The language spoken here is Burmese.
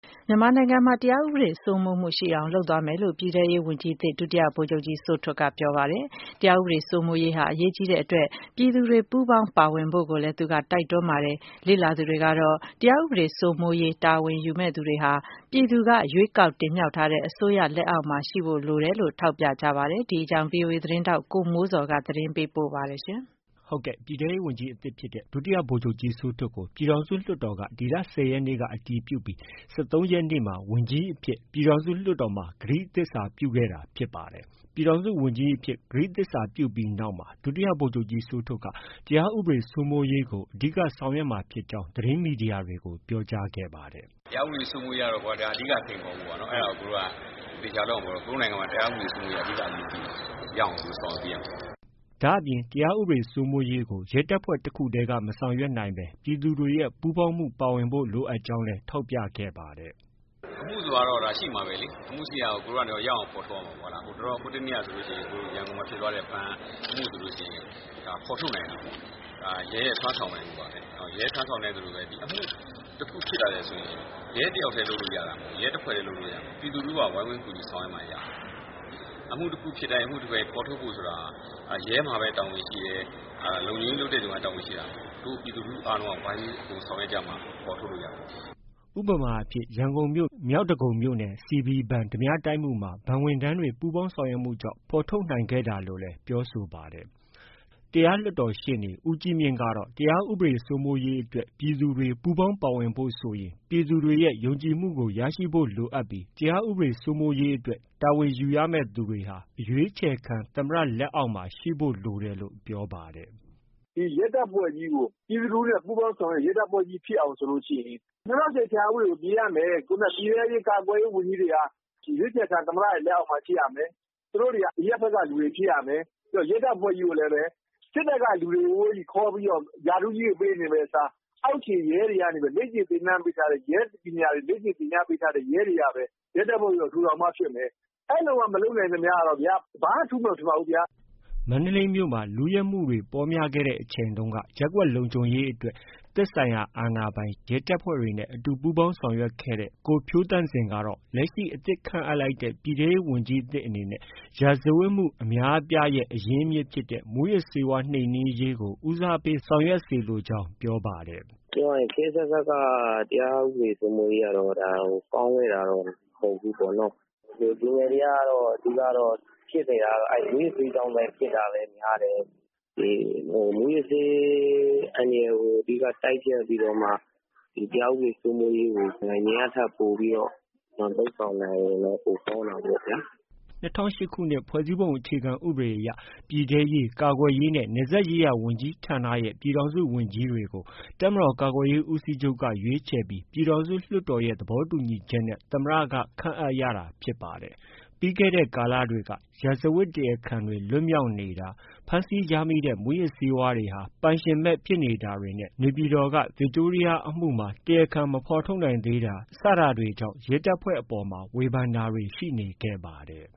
မြန်မာနိုင်ငံမှာ တရားဥပဒေစိုးမိုးမှုရှိအောင် လုပ်သွားမယ်လို့ ပြည်ထဲရေးဝန်ကြီးသစ် ဒုတိယဗိုလ်ချုပ်ကြီး စိုးထွဋ်က ပြောပါတယ်။ တရားဥပဒေစိုးမိုးရေးဟာ အရေးကြီးတဲ့အတွက် ပြည်သူတွေ ပူးပေါင်းပါဝင်ဖို့လည်း သူက တိုက်တွန်းပါတယ်။ လေ့လာသူတွေကတော့ တရားဥပဒေစိုးမိုးရေး တာဝန်ယူမယ့်သူတွေဟာ ပြည်သူက ရွေးကောက်တင်မြှောက်ထားတဲ့ အစိုးရလက်အောက်မှာ ရှိဖို့လိုတယ်လို့ ထောက်ပြကြပါတယ်။ ဒီအကြောင်း ဗွီအိုအေသတင်းထောက် ကိုမိုးဇော်က သတင်း ပေးပို့ထားပါတယ်။ ပြည်ထဲရေးဝန်ကြီးသစ်အဖြစ် ဒုတိယဗိုလ်ချုပ်ကြီးစိုးထွဋ်ကို ပြည်ထောင်စုလွှတ်တော်က ဒီလ ၁၀ရက်နေ့က အတည်ပြုပြီး ၁၃ရက်နေ့မှာ ဝန်ကြီးအဖြစ် ကတိသစ္စာပြုခဲ့တာ ဖြစ်ပါတယ်။ ပြည်ထောင်စုဝန်ကြီးအဖြစ် ကတိသစ္စာပြုပြီးနောက်မှာ ဒုတိယဗိုလ်ချုပ်ကြီးစိုးထွဋ် တရားဥပဒေစိုးမိုးရေးကို အဓိက ဆောင်ရွက်မှာဖြစ်ကြောင်း သတင်းမီဒီယာတွေကို ပြောကြားခဲ့ပါတယ်။ “တရားဥပဒေစိုးမိုးရေးကတော့ကွာ ဒါ အဓိက စိန်ခေါ်မှုပေါ့နော်။ အဲဒါကို ကိုယ်တို့က သေချာလုပ်ရမှာပေါ့။ ကိုယ်တို့နိုင်ငံမှာ တရားဥပဒေစိုးမိုးမှုက အဓိက အရေးကြီးတယ်။ ရအောင်ကိုယ်တို့ဆောင်ရွက်ပေးရမှာပေါ့။” ဒါ့အပြင် တရားဥပဒေစိုးမိုးရေးကို ရဲတပ်ဖွဲ့တစ်ခုတည်းက မဆောင်ရွက်နိုင်ဘဲ ပြည်သူတွေရဲ့ ပူးပေါင်းမှုပါဝင်ဖို့ လိုအပ်ကြောင်းလည်း ထောက်ပြခဲ့ပါတယ်။ “အမှုဆိုတာတော့ ရှိမှာပဲလေ။ အမှုရှိတာကို ကိုယ်တို့က ရအောင်ဖော်ထုတ်ရမှာပေါ့။ ဟိုနေ့ကဆိုရင် ရန်ကုန်မှာဖြစ်သွားတဲ့ ဘဏ်အမှုဆိုရင် ဒါ ဖော်ထုတ်နိုင်တာပေါ့။ ရဲရဲ့ စွမ်းဆောင်နိုင်မှုပါပဲ။ ရဲစွမ်းဆောင်နိုင်သလိုပါပဲ ဒါအမှုတခုဖြစ်လာတယ်ဆိုရင် ရဲတယောက်တည်းလုပ်လို့ ရတာမဟုတ်ဘူး။ ရဲတဖွဲ့တည်းလုပ်လို့ ရတာမဟုတ်ဘူး။ ပြည်သူလူထုပါ ဝိုင်းဝန်းကူညီဆောင်ရွက်မှ ရတာ။ အမှုတစ်ခုဖြစ်တိုင်း၊ အမှုတခုဖြစ်တိုင်း ရဲမှာပဲ တာဝန်ရှိတယ်။ လုံခြုံရေးလုပ်တဲ့သူမှာသာ တာဝန်ရှိတာ မဟုတ်ဘူး။ ပြည်သူလူထုအားလုံးက ဝိုင်းဝန်ကူညီဆောင်ရွက်မှ ဖော်ထုတ်လို့ ရတာ။” ဥပမာ အဖြစ် - ရန်ကုန်မြို့ မြောက်ဒဂုံမြို့နယ် CB ဘဏ် ဓါးပြတိုက်မှုမှာ ဘဏ်ဝန်ထမ်းတွေ ပူးပေါင်းဆောင်ရွက်မှုကြောင့် ဖော်ထုတ်နိုင်ခဲ့တာလို့လည်း ပြောဆိုပါတယ်။ တရားလွှတ်တော်ရှေ့နေ ဦးကြီးမြင့်ကတော့ တရားဥပဒေစိုးမိုးရေးအတွက် ပြည်သူတွေ ပူးပေါင်းပါဝင်ဖို့ဆိုရင် ပြည်သူတွေရဲ့ ယုံကြည်မှုကို ရရှိဖို့လိုအပ်ပြီး တရားဥပဒေ စိုးမိုးရေးအတွက် တာဝန်ယူရမယ့် သူတွေဟာ အရွေးချယ်ခံ သမ္မတ လက်အောက်မှာ ရှိဖို့ လိုတယ်လို့ ပြောပါတယ်။ “ရဲတပ်ဖွဲ့ကြီးကို ပြည်သူလူထုနဲ့ ပူးပေါင်းဆောင်ရွက်တဲ့ ရဲတပ်ဖွဲ့ကြီးဖြစ်အောင်ဆိုရင် ၂၀၀၈ အခြေခံဥပဒေကို ပြင်ရမယ်။ ခုနက ပြည်ထဲရေး၊ ကာကွယ်ရေးဝန်ကြီးတွေက ရွေးချယ်ခံ သမ္မတရဲ့လက်အောက်မှာ ရှိရမယ်။ သူတို့တွေက အရပ်ဘက်က လူတွေ ဖြစ်ရမယ်။ ပြီးတော့ ရဲတပ်ဖွဲ့ကြီးကိုလည်း စစ်တပ်က လူတွေချည်းပဲခေါ်ပြီး ရာထူးကြီးတွေ ပေးနေမယ့်အစား အောက်ခြေရဲတွေကနေပြီးတော့ လေ့ကျင့်သင်တန်းပေးထားတဲ့ ရဲပညာတွေ လေ့ကျင့်သင်ကြားပေးထားတဲ့ ရဲတွေကပဲ ရဲတပ်ဖွဲ့ကြီးကို ထူထောင်မှ ဖြစ်မယ်။ အဲလိုမှ မလုပ်နိုင်ရင်ကတော့ဗျာ ဘာမှထူးမယ် မထင်ပါဘူးဗျာ။” မန္တလေးမြို့မှာ လုယက်မှုတွေ ပေါများခဲ့တဲ့ အချိန်တုန်းက ရပ်ကွက်လုံခြုံရေးအတွက် သက်ဆိုင်ရာ အာဏာပိုင်၊ ရဲတပ်ဖွဲ့တွေနဲ့ အတူပူးပေါင်းဆောင်ရွက်ခဲ့တဲ့ ကိုဖြိုးသန့်ဇင်ကတော့ လက်ရှိ အသစ်ခန့်အပ်လိုက်တဲ့ ပြည်ထဲရေးဝန်ကြီးသစ်အနေနဲ့ ရာဇဝတ်မှု အများအပြားရဲ့ အရင်းမြစ်ဖြစ်တဲ့ မူးယစ်ဆေးဝါးနှိမ်နင်းရေးကို ဦးစားပေးဆောင်ရွက်စေချင်ကြောင်း ပြောပါတယ်။ “ပြောရရင် ခေတ်အဆက်ဆက်ကတော့ တရားဥပဒေစိုးမိုးရေးကတော့ ကောင်းခဲ့တာတော့ မဟုတ်ဘူးပေါ့ဗျာနော။ လူငယ်တွေကတော့ အဓိကကတော့ မူးယစ်ဆေးကြောင့်လည်း ဖြစ်နေတာ များတယ်။ မူးယစ်ဆေးအန္တရာယ်ကို အဓိက တိုက်ဖျက်ပြီးတော့မှ တရားဥပဒေစိုးမိုးရေးကို အရင်ကထက် ပိုပြီးတော့ လုပ်ဆောင်နိုင်ရင်တော့ ပိုကောင်းတာပေ့ါဗျာ။” ၂၀၀၈ခုနှစ် ဖွဲ့စည်းပုံအခြေခံ ဥပဒေအရ ပြည်ထဲရေး၊ ကာကွယ်ရေးနဲ့ နယ်စပ်ရေးရာဝန်ကြီးဌာနရဲ့ ပြည်ထောင်စုဝန်ကြီးတွေကို တပ်မတော်ကာကွယ်ရေး ဦးစီးချုပ်က ရွေးခြယ်ပြီး ပြည်ထောင်စုလွှတ်တော်ရဲ့ သဘောတူညီချက်နဲ့ သမ္မတက ခန့်အပ် ရတာဖြစ်ပါတယ်။ ပြီးခဲ့တဲ့ကာလမှာ ရာဇဝတ်တရားခံတွေလွတ်မြောက်နေတာ၊ ဖမ်းဆီးရမိတဲ့ မူးယစ်ဆေးဝါးတွေဟာ ပိုင်ရှင်မဲ့ ဖြစ်နေတာတွေ နေပြည်တော်က ဗစ်တိုးရီးယားအမှုမှာ တရားခံမဖော်ထုတ်နိုင်သေးတာတွေ စတာတွေကြောင့် ရဲတပ်ဖွဲ့အပေါ်မှာ ဝေဖန်တာတွေ ရှိနေခဲ့ပါတယ်